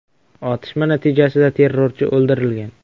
Otishma natijasida terrorchi o‘ldirilgan.